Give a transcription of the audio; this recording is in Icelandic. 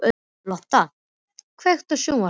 Lotta, kveiktu á sjónvarpinu.